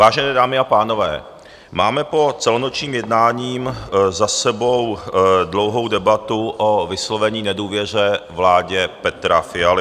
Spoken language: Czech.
Vážené dámy a pánové, máme po celonočním jednání za sebou dlouhou debatu o vyslovení nedůvěry vládě Petra Fialy.